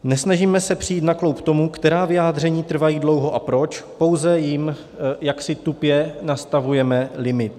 Nesnažíme se přijít na kloub tomu, která vyjádření trvají dlouho a proč, pouze jim jaksi tupě nastavujeme limit.